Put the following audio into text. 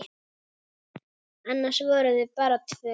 Annars voru þau bara tvö.